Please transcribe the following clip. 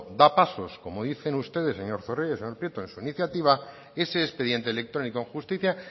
da pasos como dicen ustedes señor zorrilla y señor prieto en su iniciativa ese expediente electrónico en justicia